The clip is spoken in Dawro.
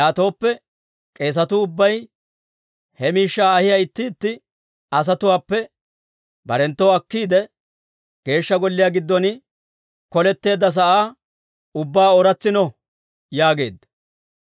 Yaatooppe k'eesatuu ubbay he miishshaa ahiyaa itti itti asatuwaappe barenttoo akkiide, Geeshsha Golliyaa giddon koletteedda sa'aa ubbaa ooratsino» yaageedda.